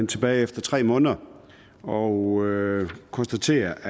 tilbage efter tre måneder og konstatere